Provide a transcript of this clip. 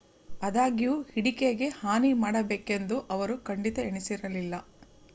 ಆದಾಗ್ಯೂ ಹಿಡಿಕೆಗೆ ಹಾನಿ ಮಾಡಬೇಕೆಂದು ಅವರು ಖಂಡಿತ ಎಣಿಸಿರಲಿಲ್ಲ